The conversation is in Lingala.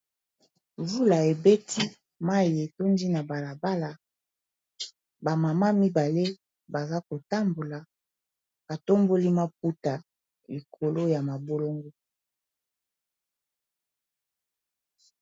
Mvula ebeti mayi etondi na balabala ba mama mibale baza kotambola ba tomboli maputa likolo ya mabolongo.